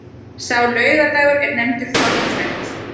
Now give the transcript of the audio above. Sá laugardagur er nefndur þorraþræll.